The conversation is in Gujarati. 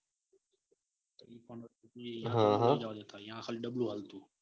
હ હ અહીંયા ખાલી ડબ્લ્યૂ જ આપતું.